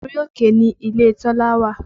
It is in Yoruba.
Orí òkè ni ilé Tọ́lá wà